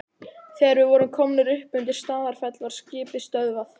Þegar við vorum komnir upp undir Staðarfell var skipið stöðvað.